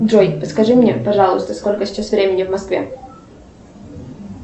джой подскажи мне пожалуйста сколько сейчас времени в москве